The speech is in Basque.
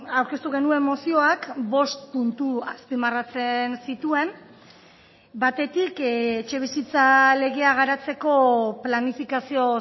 aurkeztu genuen mozioak bost puntu azpimarratzen zituen batetik etxebizitza legea garatzeko planifikazio